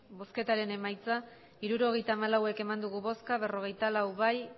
botoak hirurogeita hamalau bai berrogeita lau ez